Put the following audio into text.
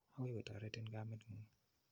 Akoi kotoretin kamet ng'ung'.